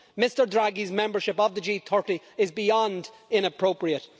Mr Draghi's membership of the G30 is beyond inappropriate.